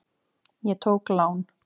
Ég tók lán.